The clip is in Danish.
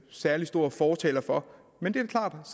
særlig stor fortaler for men det er klart